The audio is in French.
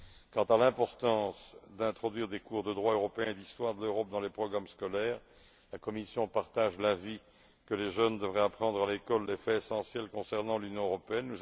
Quant à l'importance d'introduire des cours de droit européen et d'histoire de l'Europe dans les programmes scolaires, la Commission partage l'avis selon lequel les jeunes devraient apprendre à l'école les faits essentiels relatifs à l'Union européenne.